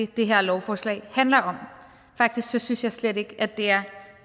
det her lovforslag handler om faktisk synes jeg slet ikke at det er